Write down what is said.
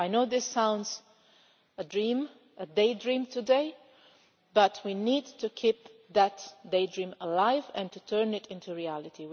I know this sounds like a daydream today, but we need to keep that daydream alive and to turn it into reality.